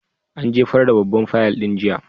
An jefar da babban fayil ɗin jiya.